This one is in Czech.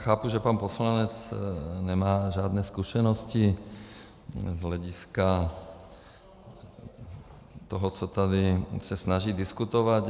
Chápu, že pan poslanec nemá žádné zkušenosti z hlediska toho, co se tady snaží diskutovat.